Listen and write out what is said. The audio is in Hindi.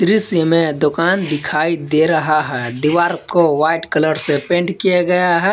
दृश्य मे दुकान दिखाई दे रहा है दीवार को वाइट कलर से पेंट किया गया है।